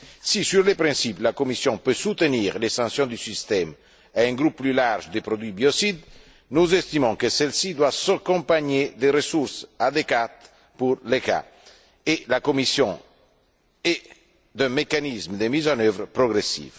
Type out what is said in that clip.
Si, sur le principe, la Commission peut soutenir l'extension du système à un groupe plus large de produits biocides, nous estimons que celle ci doit s'accompagner de ressources adéquates pour l'ECHA et la Commission, et de mécanismes de mise en œuvre progressive.